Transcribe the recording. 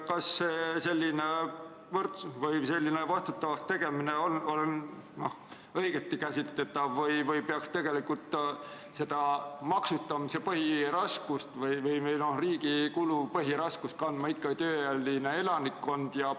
Kas selline vastutavaks tegemine on õigesti käsitletav või peaks maksustamise või riigi kulude põhiraskust kandma ikka tööealine elanikkond?